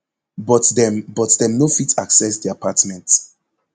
but dem but dem no fit access di apartment